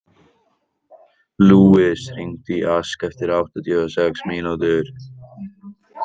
Lúis, hringdu í Ask eftir áttatíu og sex mínútur.